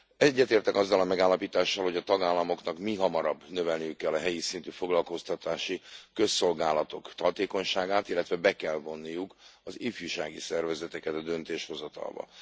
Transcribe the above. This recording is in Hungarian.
Egyetértek azzal a megállapítással, hogy a tagállamoknak mihamarabb növelniük kell a helyi szintű foglalkoztatási közszolgálatok hatékonyságát, illetve be kell vonniuk az ifjúsági szervezeteket a döntéshozatalba.